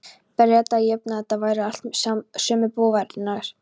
Breta að jöfnu- þetta væru allt sömu bófarnir.